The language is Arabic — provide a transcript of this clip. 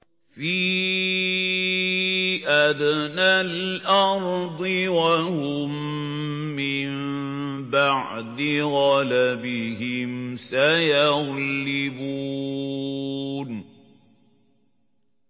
فِي أَدْنَى الْأَرْضِ وَهُم مِّن بَعْدِ غَلَبِهِمْ سَيَغْلِبُونَ